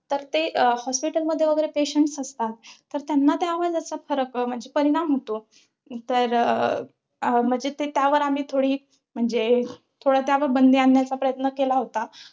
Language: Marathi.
तर ते अं hospital मध्ये patients असतात. तर त्यांना त्या आवाजाचा फरक म्हणजे परिणाम होतो. तर अं म्हणजे ते त्यावर आम्ही थोडी म्हणजे थोडा त्यावर बंदी आणण्याचा प्रयत्न केला होता.